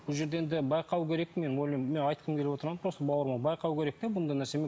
бұл жерде енді байқау керек мен менің айтқым келіп отырғаным просто бауырларым байқау керек те бұндай нәрсені